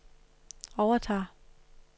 overtager